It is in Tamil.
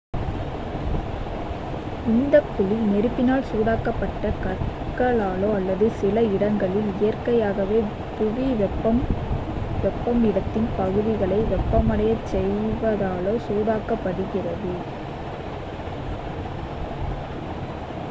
இந்தக் குழி நெருப்பினால் சூடாக்கப்பட்ட கற்களாலோ அல்லது சில இடங்களில் இயற்கையாகவே புவி வெப்பம் இடத்தின் பகுதிகளை வெப்பமடையச் செய்வதாலோ சூடாக்கப்படுகிறது